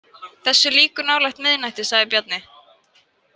Þessu lýkur nálægt miðnætti, sagði Bjarni.